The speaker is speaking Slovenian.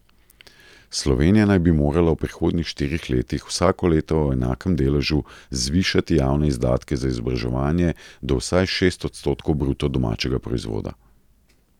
Slovenija naj bi morala v prihodnjih štirih letih, vsako leto v enakem deležu, zvišati javne izdatke za izobraževanje do vsaj šest odstotkov bruto domačega proizvoda.